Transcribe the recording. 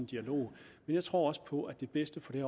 dialog men jeg tror også på at det bedste på det